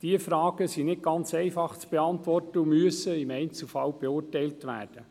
Diese Fragen sind nicht ganz einfach zu beantworten und müssen im Einzelfall beurteilt werden.